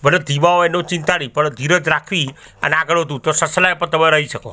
ભલે ધીમા હોઇ એનુ ચિંતા ની પણ ધીરજ રાખવી અને આગળ વધવુ તો સસલા એ પ તમે રઇ શકો.